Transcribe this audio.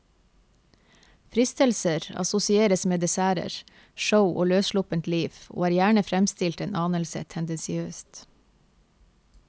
Fristelser assosieres med desserter, show og løssluppent liv, og er gjerne fremstilt en anelse tendensiøst.